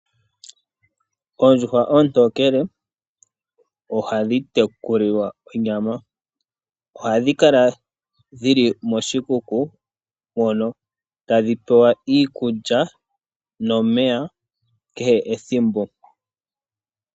Oondjuhwa oontokele ohadhi tekulilwa onyama, ohadhi kala dhili moshikuku mono tadhi pewa iikulya nomeya kehe ethimbo.